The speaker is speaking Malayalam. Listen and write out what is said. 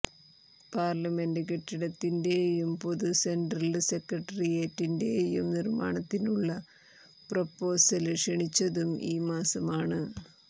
പാര്ലമെന്റ് കെട്ടിടത്തിന്റെയും പൊതു സെന്ട്രല് സെക്രട്ടേറിയറ്റിന്റെയും നിര്മാണത്തിനുള്ള പ്രൊപ്പോസല് ക്ഷണിച്ചതും ഈ മാസമാണ്